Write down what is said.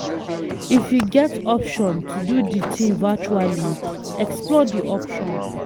if you get option to do di thing virtually, explore di option